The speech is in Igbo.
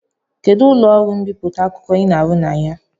Kedụ ụlọ ọrụ mbipụta akwụkwọ Ị na-arụ na ya?